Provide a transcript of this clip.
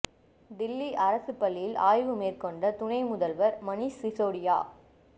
தில்லி அரசுப் பள்ளியில் ஆய்வு மேற்கொண்ட துணை முதல்வர் மணீஷ் சிசோடியா